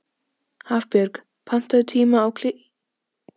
Hafbjörg, pantaðu tíma í klippingu á fimmtudaginn.